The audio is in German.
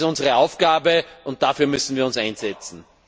Das ist unsere Aufgabe, und dafür müssen wir uns einsetzen.